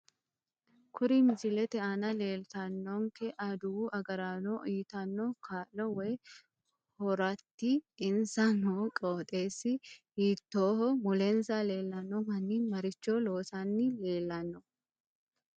Kuri misilete aana leeltanonke aduwu agaraano uyiitanno kaa'lo woy horoaati insa noo qoxeesi hiitooho mulensa leelanno manni maricho loosanni leelanno